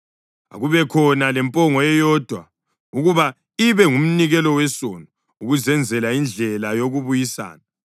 Akubekhona lempongo eyodwa ukuba ibe ngumnikelo wesono ukuzenzela indlela yokubuyisana.